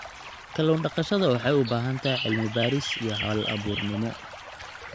Kallun daqashada waxay u baahan tahay cilmi-baaris iyo hal-abuurnimo.